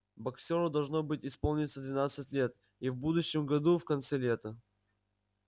боксёру должно быть исполниться двенадцать лет и в будущем году в конце лета